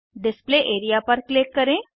display area पर click करें